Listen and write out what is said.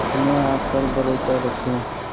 अपने आप पर भरोसा रखें